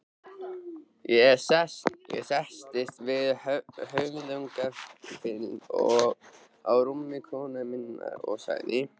Ég settist við höfðagaflinn á rúmi konu minnar og sagði